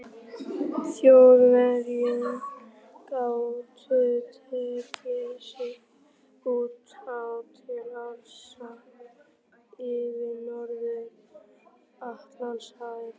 Þjóðverja gátu teygt sig út á til árása yfir Norður-Atlantshafi.